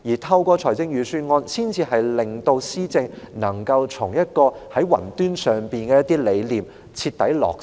透過預算案，政府才能令其雲端上的施政理念徹底落實。